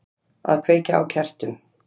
Að kveikja á kertum.